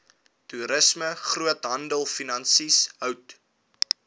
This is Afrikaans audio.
toerisme groothandelfinansies hout